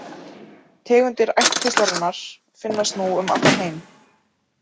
Tegundir ættkvíslarinnar finnast nú um allan heim.